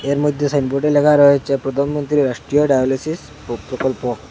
এর মধ্যে সাইনবোর্ডে লেখা রয়েছে প্রধানমন্ত্রী রাষ্ট্রিয় ডায়লাসিস পো প্রকল্প।